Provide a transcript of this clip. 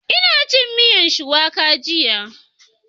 Ina cin miyar Shuwaka jiya